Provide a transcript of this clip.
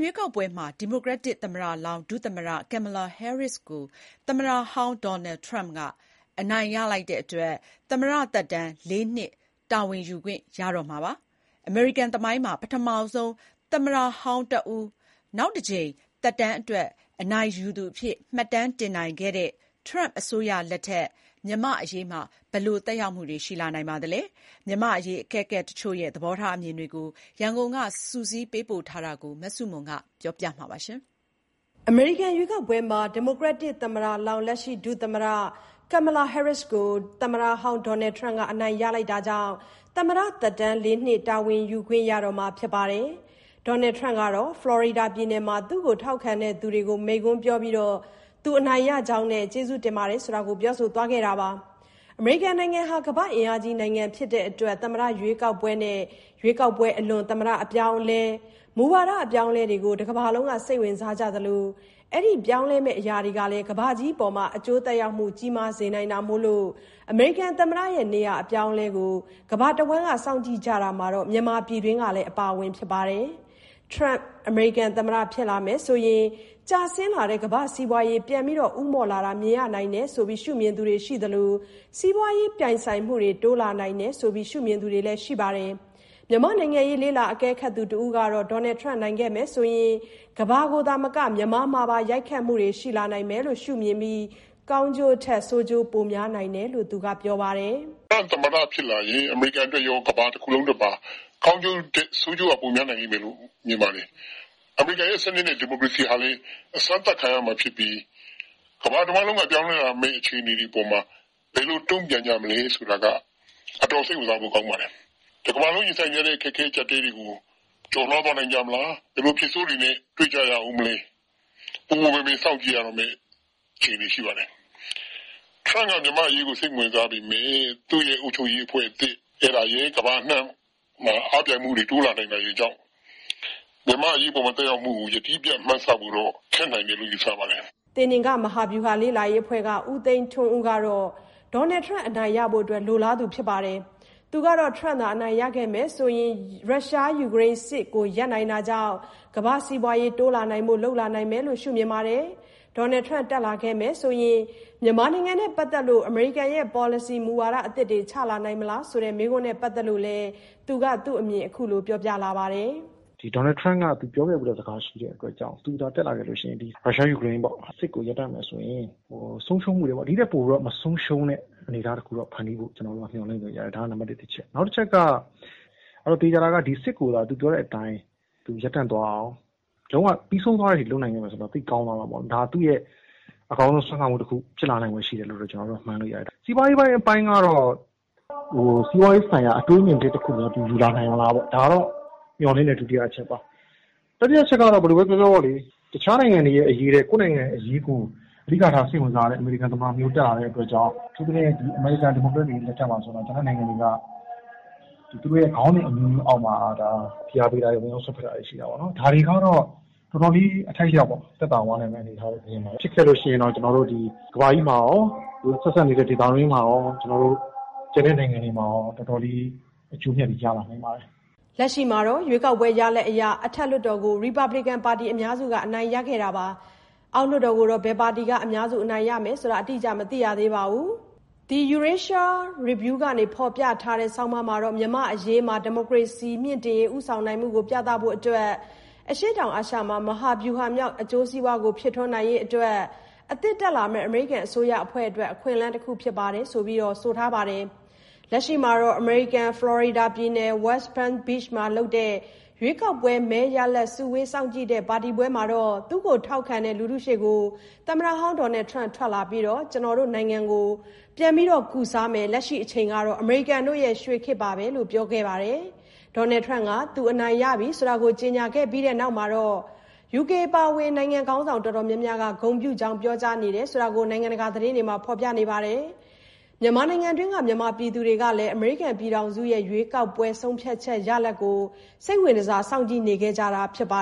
ရွေးကောက်ပွဲမှာ ဒီမိုကရက်တစ်သမ္မတလောင်း ဒုသမ္မတ Kamala Harris ကို သမ္မတဟောင်း Donald Trump က အနိုင်ရလိုက်တာကြောင့် ဒေါ်နယ်ထရမ့်ဟာ လာမယ့် သမ္မတသက်တမ်း ၄ နှစ် တာဝန်ယူခွင့်ရတော့မှာ ဖြစ်ပါတယ်။ အမေရိကန်သမိုင်းမှာတော့ ရာစုနှစ်တခုကျော်အကြာမှာ ပထမဆုံးအကြိမ်အဖြစ် သမ္မတဟောင်းတဦးက နောက်တကြိမ် သက်တမ်းအတွက် အနိုင်ရသူအဖြစ် မှတ်တမ်းတင်နိုင်ခဲ့တာပါ။ ထရမ့်အစိုးရလက်ထက်မှာ မြန်မာ့အရေးမှာ ဘယ်လို သက်ရောက်မှုတွေ ရှိလာနိုင်ပါသလဲ။ မြန်မာ့အရေး အကဲခတ်တချို့ရဲ့ သဘောထားအမြင်တွေကို ရန်ကုန်က စုစည်းထားတာကို မဆုမွန် တင်ပြထားပါတယ်။ အမေရိကန် ရွေးကောက်ပွဲမှာ ဒီမိုကရက်တစ်သမ္မတလောင်း ဒုသမ္မတ Kamala Harris ကို သမ္မတဟောင်း Donald Trump က အနိုင်ရလိုက်တာကြောင့် သမ္မတသက်တမ်း ၄ နှစ် တာဝန်ယူခွင့်ရတော့မှာ ဖြစ်ပါတယ်။ Donald Trump ကတော့ ဖလော်ရီဒါပြည်နယ်မှာ သူ့ကို ထောက်ခံသူတွေကို မိန့်ခွန်းပြောပြီး အနိုင်ရကြောင်းနဲ့ ကျေးဇူးတင်ကြောင်း ပြောဆိုသွားခဲ့ပါတယ်။ အမေရိကန်နိုင်ငံဟာ ကမ္ဘာ့အင်အားကြီးနိုင်ငံကြီးဖြစ်တဲ့အတွက် သမ္မတရွေးကောက်ပွဲနဲ့ ရွေးကောက်ပွဲ အလွန် သမ္မတအပြောင်းအလဲ၊ မူဝါအပြောင်းအလဲတွေကို တကမ္ဘာလုံးကစိတ်ဝင်စားကြသလို ဒီပြောင်းလဲလာမယ့် အရာတွေကလည်း ကမ္ဘာကြီးကို အကျိုး သက်ရောက်မှုကြီးမားစေနိုင်တာမို့ အမေရိကန်သမ္မတနေရာအပြောင်းအလဲကို နိုင်ငံတော်တော်များများက စောင့်ကြည့်ကြတာမှာ မြန်မာပြည်တွင်းလည်းအပါအဝင်ပါ။ ထရန့်သာ အမေရိကန်သမ္မတဖြစ်လာမယ်ဆိုရင် ကျဆင်းလာနေတဲ့ ကမ္ဘာ့စီးပွားရေး ပြန်လည်ဦးမော့ လာတာမြင်ရနိုင်တယ်လို့ မြင်သူတွေရှိသလို စီးပွားရေး ပြိုင်ဆိုင်မှုတွေ တိုးလာ နိုင်တယ်လို့ မြင်သူတွေလည်းရှိပါတယ်။ မြန်မာ့နိုင်ငံရေးလေ့လာသုံးသပ်သူတဦးကတော့ ထရမ့်နိုင်ခဲ့မယ်ဆိုရင် ကမ္ဘာမှာသာမက မြန်မာမှာပါ ရိုက်ခတ်မှုတွေရှိလာမယ်လို့ မြင် ပါတယ်။ ကောင်းကျိုးထက်ဆိုးကျိုးပိုများနိုင်တယ်လို့ပြောပါတယ်။ "ထရမ့်သမ္မတဖြစ်ရင် အမေရိကန်အတွက်ကောကမ္ဘာအတွက်ပါ ကောင်းကျိုးထက် ဆိုးကျိုးက ပိုများတယ်လို့ မြင်ပါတယ်။ အမေရိကန်ရဲ့စနစ်နဲ့ဒီမိုကရေစီဟာလည်း အစမ်းသပ်ခံရနိုင်ဖွယ် ရှိပါတယ်။ ကမ္ဘာတဝှမ်းလုံးကပြောင်းလဲလာမယ့်အခြေအနေအပေါ်မှာ ဘယ်လို တုံ့ပြန်ကြမလဲဆိုတာ အတော်စိတ်ဝင်စားဖို့ကောင်းပါတယ်။ တကမ္ဘာလုံးရင်ဆိုင်နေရတဲ့အခက်အခဲတွေကို ရင်ဆိုင် ကျော် လွှားနိုင်မလား၊ ဘယ်လိုအဖြစ်ဆိုးနဲ့တွေ့ကြရဦးမလဲ၊ ပူပူပင်ပင်စောင့်ကြည့်ရမယ့် အခြေအနေ ရှိပါတယ်။ ထရမ့်က မြန်မာ့အရေးစိတ်မဝင်စားပေမယ့် သူ့အစိုးရသစ်ရယ်၊ ကမ္ဘာအနှံ့မှာ အားပြိုင်မှုရယ် တိုးလာနိုင်တာကြောင့် မြန်မာ့အရေးပေါ်သက်ရောက်မှုကို ယတိပြတ်မှန်းဆဖို့တော့ ခက်နေပါသေးတယ်။" သေနင်္ဂမဟာဗျူဟာ လေ့လာရေးအဖွဲ့က ဦးသိန်းထွန်းဦးကတော့ ထရမ့်အနိုင်ရရှိဖို့လိုလားသူပါ။ သူကတော့ထရမ့်သာအနိုင်ရခဲ့ရင် ထရမ့်ကြောင့် ရုရှားယူကရိန်းစစ်ကိုရပ်နိုင်တာကြောင့် ကမ္ဘာ့စီးပွားရေး တိုးလာအောင် လုပ်လာနိုင်မယ်လို့သူကမြင်ပါတယ်။ ထရမ့်တက်လာခဲ့ရင် မြန်မာနိုင်ငံနဲ့ပတ်သက်လို့ အမေရိကန်ရဲ့ ပေါ်လစီမူဝါဒ အသစ်တွေချလာနိုင်မလား ဆိုတာနဲ့ ပတ်သက်လို့တော့ သူက ခုလိုသူ့အမြင်ကို ပြောပြပါတယ်။ "ဒေါ်နယ်ထရမ့်ကသူပြောခဲ့တာရှိတယ်။ သူတက်လာရင်ရုရှားယူကရိန်းစစ်ကိုရပ်တန့်မယ်ဆိုရင် ဒီထက်ပိုတဲ့ဆုံးရှုံးမှုတခုရပ်နိုင်မယ်လို့ မျှော်လင့်တယ်။ ဒါက နံပါတ် တချက်ပါ။ သေချာတာက စစ်ကို သူပြောတဲ့အတိုင်းရပ်တန့်သွားအောင် လုပ်နိုင်တယ်၊ ပြီးဆုံးတဲ့အထိလုပ်နိုင်တယ်ဆိုရင် ဒါဟာ သူ့ရဲ့ အကောင်းဆုံးစွမ်းဆောင်မှုတခုလို့ မှန်းလို့ရတယ်။ စီးပွားရေးပိုင်းကတော့ စီးပွားရေးဆိုင်ရာ အတွေးအမြင်သစ်များ ယူလာနိုင်မလား။ ဒါက မျှော်လင့်တဲ့တချက်ပါ။ တတိယကတော့ တခြားနိုင်ငံအရေးထက် ကိုယ့်နိုင်ငံအရေးကို အဓိကထား စိတ်ဝင်စားတဲ့ သမ္မတတက်လာတာမို့ အမေရိကန်က ဒီမိုကရက်လက်ထက်မှာလို ကျန်တဲ့နိုင်ငံတွေကို သူတို့ခေါင်းစဉ်အမျိုးမျိုးအောက်မှာ ဖိအားပေးတာ၊ ဝင်ရောက်စွက်ဖက်တာတွေရှိတာကို တော်တော်လေး အထိုက်အလျောက် သက်သာသွားမယ် မြင်တယ်။ ဖြစ်ခဲ့လို့ရှိရင်ကမ္ဘာကြီးမှာကော၊ ဒေသတွင်းနိုင်ငံတွေမှာကော၊ ကျန်တဲ့နိုင်ငံတွေအတွက်ကော တော်တော်လေး အကျိုးအမြတ်တွေ ရလာနိုင်ပါတယ်။" လက်ရှိမှာတော့ ရွေးကောက်ပွဲရလဒ်အရ အထက်လွှတ်တော်ကို ရီပတ်ဘလစ်ကန်ပါတီ အများစုက အနိုင်ရပြီး အောက်လွှတ်တော်ကိုတော့ ဘယ်ပါတီက အများစုအနိုင်ရမယ်ဆိုတာ အတိအကျ မသိရသေးပါဘူး။ The Eurasia Review က ဖော်ပြတဲ့ ဆောင်းပါးကတော့ မြန်မာ့အရေးမှာ ဒီမိုကရေစီမြှင့်တင်ရေး ဦးဆောင်နိုင်မှုကိုပြသဖို့နဲ့ အရှေ့တောင်အာရှမှာ မဟာဗျူဟာမြောက် အကျိုးစီးပွားကို ဖြစ်ထွန်းစေ ရေးအတွက် အသစ်တက်လာမယ့် အမေရိကန်အစိုးရအဖွဲ့အတွက် အခွင့်အလမ်းတခုဖြစ်တယ်လို့ ဆိုထားပါတယ်။ လက်ရှိမှာတော့ အမေရိကန်၊ ဖလော်ရီဒါပြည်နယ်၊ ဝက်စ် ပန်း ဘိချ်မှာ လုပ်တဲ့ရွေးကောက်ပွဲ မဲရလဒ် စုဝေးစောင့်ကြည့်တဲ့ပါတီမှာ လူထုရှေ့ကို ဒေါ်နယ်ထရမ့်ထွက်လာပြီး “ ကျနော်တို့နိုင်ငံကို အနာကျက်အောင် ကုစားမယ်”လို့ပြောခဲ့သလို လက်ရှိအချိန်ဟာ အမေရိကန်ရဲ့ “ရွှေခေတ်”ပဲလို့လည်း ဆက်ပြောခဲ့ပါတယ်။ ထရမ့်က သူအနိုင်ရပြီလို့ ကြေညာပြီးတဲ့နောက်မှာ ယူကေအပါအဝင် နိုင်ငံခေါင်းဆောင်တချို့က ဂုဏ်ပြုကြောင်းပြောကြားထားကြတယ်လို့ နိုင်ငံတကာသတင်းတွေမှာဖော်ပြကြပါတယ်။ မြန်မာနိုင်ငံတွင်းက မြန်မာပြည်သူတွေကလည်း အမေရိကန်ပြည်ထောင်စုရဲ့ ရွေးကောက်ပွဲ ဆုံးဖြတ်ချက်ရလဒ်ကို စိတ်ဝင်တစားစောင့်ကြည့်နေခဲ့ကြတာဖြစ်ပါ